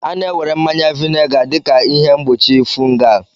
A na-ewere mmanya vinega dị ka ihe mgbochi fungal